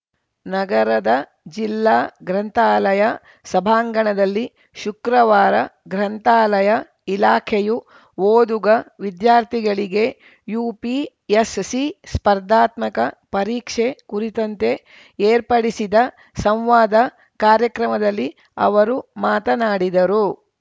ನಗರದ ಜಿಲ್ಲಾ ಗ್ರಂಥಾಲಯ ಸಭಾಂಗಣದಲ್ಲಿ ಶುಕ್ರವಾರ ಗ್ರಂಥಾಲಯ ಇಲಾಖೆಯು ಓದುಗ ವಿದ್ಯಾರ್ಥಿಗಳಿಗೆ ಯುಪಿಎಸ್‌ಸಿ ಸ್ಪರ್ಧಾತ್ಮಕ ಪರೀಕ್ಷೆ ಕುರಿತಂತೆ ಏರ್ಪಡಿಸಿದ ಸಂವಾದ ಕಾರ್ಯಕ್ರಮದಲ್ಲಿ ಅವರು ಮಾತನಾಡಿದರು